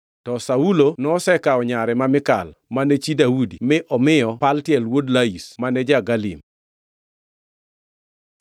To Saulo nosekawo nyare ma Mikal, mane chi Daudi mi omiyo Paltiel wuod Laish mane ja-Galim.